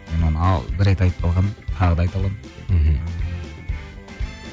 бір рет айтып қалғанмын тағы да айта аламын мхм